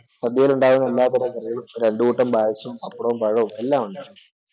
സദ്യയിലുണ്ടാകുന്ന കറികളും രണ്ടു കൂട്ടം പായസം പപ്പടവും പഴവും എല്ലാം ഉണ്ടായിരുന്നു